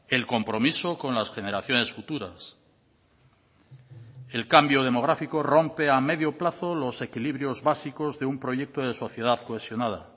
el compromiso con las generaciones futuras el cambio demográfico rompe a medio plazo los equilibrios básicos de un proyecto de sociedad cohesionada